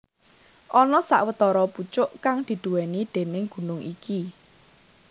Ana sawetara pucuk kang diduwèni déning gunung iki